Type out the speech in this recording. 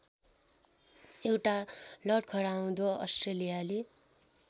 एउटा लडखडाउँदो अस्ट्रेलियाली